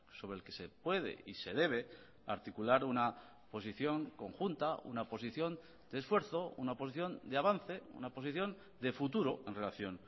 sobre el que se puede y se debe articular una posición conjunta una posición de esfuerzo una posición de avance una posición de futuro en relación